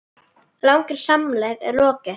Langri samleið er lokið.